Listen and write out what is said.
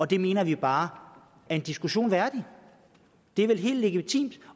det mener vi bare er en diskussion værdigt det er vel helt legitimt